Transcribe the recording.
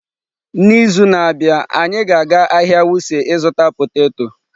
N'izu na-abịa, anyị ga-aga ahịa Wuse ịzụta poteto.